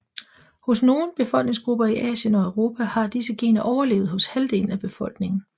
Hos nogle befolkningsgrupper i Asien og Europa har disse gener overlevet hos halvdelen af befolkningen